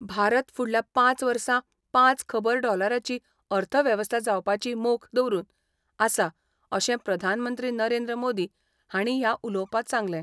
भारत फुडल्या पांच वर्सा पांच खबर डॉलराची अर्थवेवस्था जावपाची मोख दवरून आसा अशें प्रधानमंत्री नरेंद्र मोदी हांणी ह्या उलोवपांत सांगलें.